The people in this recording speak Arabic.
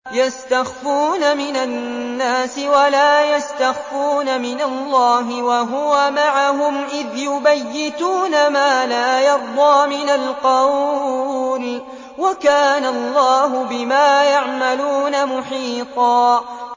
يَسْتَخْفُونَ مِنَ النَّاسِ وَلَا يَسْتَخْفُونَ مِنَ اللَّهِ وَهُوَ مَعَهُمْ إِذْ يُبَيِّتُونَ مَا لَا يَرْضَىٰ مِنَ الْقَوْلِ ۚ وَكَانَ اللَّهُ بِمَا يَعْمَلُونَ مُحِيطًا